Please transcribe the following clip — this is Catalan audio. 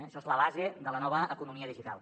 això és la base de la nova economia digital